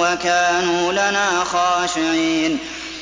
وَكَانُوا لَنَا خَاشِعِينَ